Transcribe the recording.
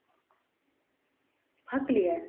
பார்க்கலையா